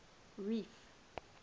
reef